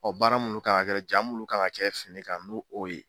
Ɔ baara munnu kan ga kɛ ja munnu kan ka kɛ finikan n'o o ye